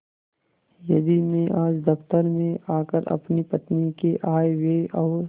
यदि मैं आज दफ्तर में आकर अपनी पत्नी के आयव्यय और